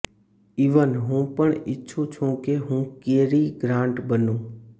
even હું પણ ઇચ્છું છું કે હું કેરી ગ્રાન્ટ બનું